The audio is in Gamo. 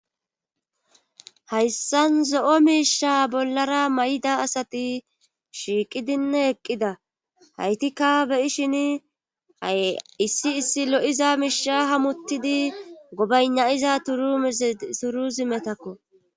hayssan zo7o miisha bollara may7ida asati shiiqidinne eqqida haytikka beyishin aissi issi lo7iza miisha hamutidi gobaynayiza turu turu zimetakko